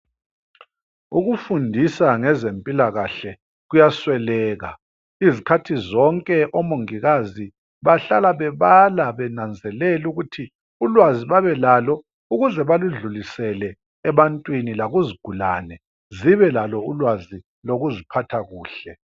Ukufundisa ngezempilakahle kuyasweleka. Izikhathi zonke, omongikazi bahlala bebala, benanzelela ukuthi ulwazi babelalo, ukuze baludlulisele ebantwini, lakuzigulane. Zibelalo ulwazi lokuziphatha kuhle.